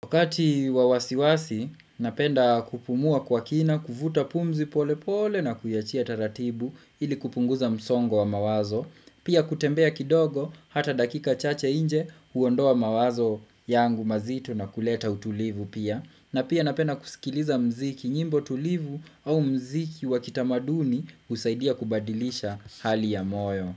Wakati wawasiwasi, napenda kupumua kwa kina, kuvuta pumzi pole pole na kuiachia taratibu ili kupunguza msongo wa mawazo. Pia kutembea kidogo, hata dakika chache nje, huondoa mawazo yangu mazito na kuleta utulivu pia. Na pia napenda kusikiliza mziki nyimbo tulivu au mziki wakitamaduni husaidia kubadilisha hali ya moyo.